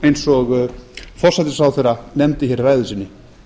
eins og forsætisráðherra nefndi hér í ræðu sinni